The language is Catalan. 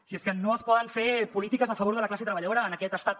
i és que no es poden fer polítiques a favor de la classe treballadora en aquest estat